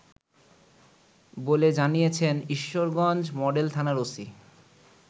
বলে জানিয়েছেন ঈশ্বরগঞ্জ মডেল থানার ওসি